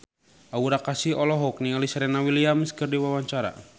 Aura Kasih olohok ningali Serena Williams keur diwawancara